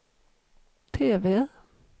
TV